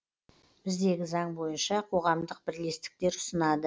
біздегі заң бойынша қоғамдық бірлестіктер ұсынады